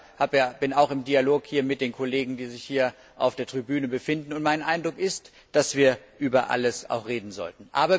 Ich selber stehe auch im Dialog mit den Kollegen, die sich hier auf der Tribüne befinden, und mein Eindruck ist, dass wir über alles reden sollten.